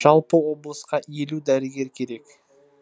жалпы облысқа елу дәрігер керек